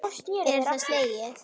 Er það slegið?